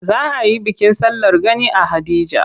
Za a yi bikin sallar gani a Haɗeja.